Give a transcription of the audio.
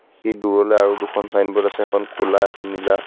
সি দূৰলৈ আৰু দুখন ছাইনবোৰ্ড আছে এখন ক'লা এখন নীলা.